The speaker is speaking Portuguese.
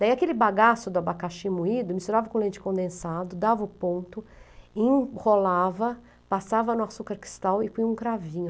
Daí aquele bagaço do abacaxi moído, misturava com leite condensado, dava o ponto, enrolava, passava no açúcar cristal e põe um cravinho.